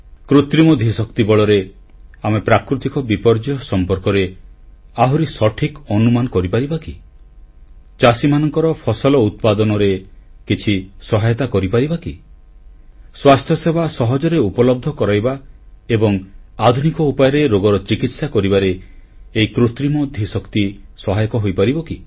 କୃତ୍ରିମ ଧୀଶକ୍ତି ବଳରେ ଆମେ ପ୍ରାକୃତିକ ବିପର୍ଯ୍ୟୟ ସମ୍ପର୍କରେ ଆହୁରି ସଠିକ ଅନୁମାନ କରିପାରିବା କି ଚାଷୀମାନଙ୍କ ଫସଲ ଉତ୍ପାଦନରେ କିଛି ସହାୟତା କରିପାରିବା କି ସ୍ୱାସ୍ଥ୍ୟସେବା ସହଜରେ ଉପଲବ୍ଧ କରାଇବା ଏବଂ ଆଧୁନିକ ଉପାୟରେ ରୋଗର ଚିକିତ୍ସା କରିବାରେ ଏହି କୃତ୍ରିମ ଧୀଶକ୍ତି ସହାୟକ ହୋଇପାରିବ କି